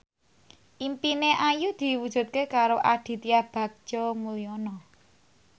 impine Ayu diwujudke karo Aditya Bagja Mulyana